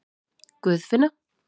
Guðfinna